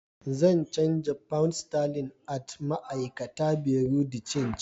Zan chanza pounds sterling at ma'aikata Buerea de change.